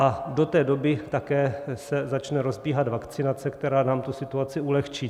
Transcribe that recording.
A do té doby také se začne rozbíhat vakcinace, která nám tu situaci ulehčí.